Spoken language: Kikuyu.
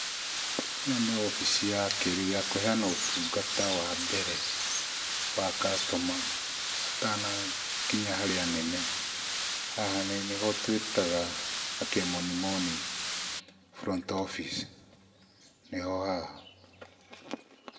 Ĩno nĩ obici ya kĩrĩu ya kũheana ũtungata wa mbere wa customer atanakinya harĩ anene, haha nĩho twĩtaga na kĩmoni moni front office nĩho haha.